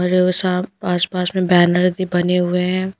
आसपास में बैनर भी बने हुए हैं।